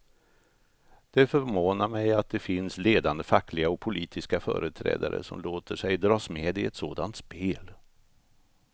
Det förvånar mig att det finns ledande fackliga och politiska företrädare som låter sig dras med i ett sådant spel.